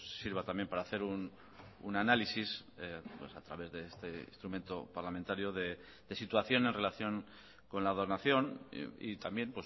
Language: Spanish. sirva también para hacer un análisis a través de este instrumento parlamentario de situación en relación con la donación y también